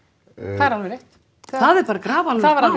það er alveg rétt það er bara grafalvarlegt